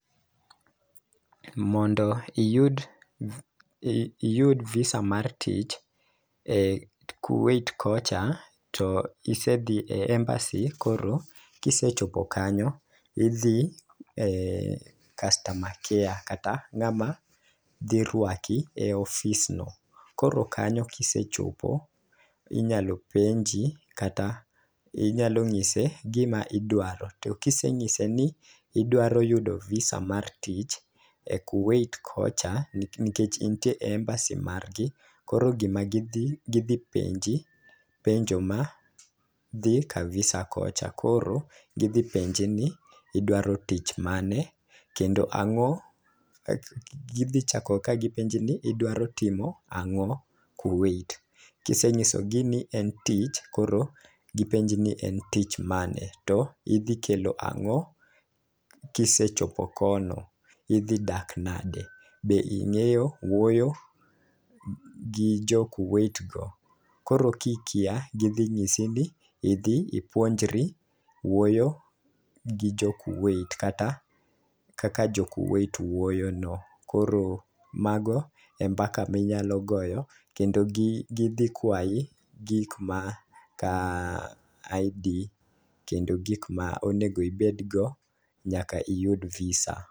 Mondo iyud i iyud visa mar tich e kuwait kocha to isedhi e embassy koro kisechopo kanyo idhi e customer care kata ng'ama dhi rwaki e ofis no. Koro kanyo kisechopo inyalo penji kata inyalo ng'ise gima idwaro to kiseng'ise ni idwaro yudo visa mar tich e kuwait kocha nikech intie e embassy margi koro gima gidhi gidhi penjo penjo madhi ka visa kocha. Koro gidhi penji ni idwaro tich mane kendo ang'o, gidhi chako ka gipenji ni idwaro timo ang'o kuwait . Kisenyiso gi ni en tich koro gipenji ni en tich mane to idhi kelo ang'o kisechopo kono? , idhi dak nade? be ing'eyo wuoyo gi jo kuwait go?. Koro kikia gidhi nyisi ni idhi ipuonjri wuoyo gi jo kuwait kata kaka jo Kuwait wuoyo no . Koro mago e mbaka minyalo goyo kendo gi gidhi kwayi gik ma ka ID kendo gik ma onego ibed go nyaka iyud visa.